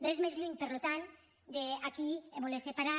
res més lluny per tant que d’aquí voler separar